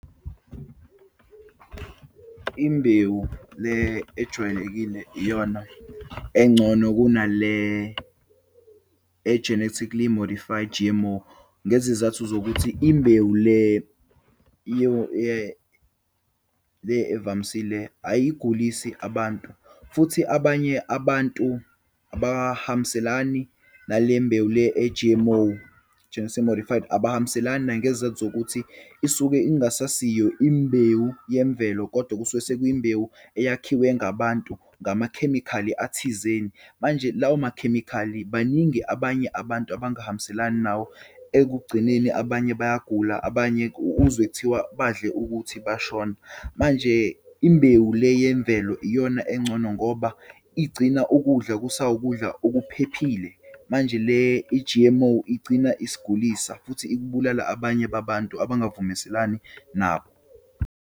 Imbewu le ejwayelekile iyona engcono kuna le e-genetically modified G_M_O. Ngezizathu zokuthi, imbewu le le evamisile ayigulisi abantu. Futhi abanye abantu abahambiselani nale mbewu le e-G_M_O genitically modified. Abahambiselani nangezizathu zokuthi isuke ingasasiyo imbewu yemvelo kodwa kusuke sekwiyimbewu eyakhiwe ngabantu ngamakhemikhali athizeni. Manje lawo makhemikhali, baningi abanye abantu abangahambiselani nawo, ekugcineni abanye bayagula, abanye uzwe kuthiwa badle ukuthi bashona. Manje, imbewu le yemvelo iyona engcono ngoba igcina ukudla kusawukudla okuphephile. Manje le i-G_M_O igcina isigulisa futhi ikubulala abanye babantu abavumeselani nabo.